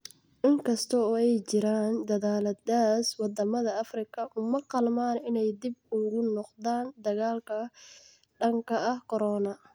In kasta oo ay jiraan dadaalladaas, waddamada Afrika uma qalmaan inay dib ugu noqdaan dagaalka ka dhanka ah corona.